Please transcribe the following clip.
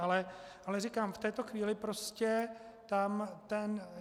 Ale říkám, v této chvíli prostě tam ten...